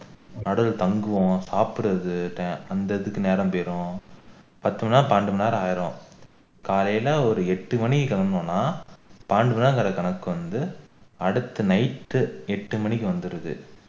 நடுவுல தங்குவோம் சாப்பிடுறது அந்த இதுக்கு நேரம் போயிடும் பத்து மணி நேரம் பன்னிரண்டு மணி நேரம் ஆகிடும் காலைல ஒரு எட்டு மணிக்கு கிளம்பினோம்னா பன்னிரண்டு மணி நேர கணக்கு வந்து அடுத்த night எட்டு மணிக்கு வந்துடுது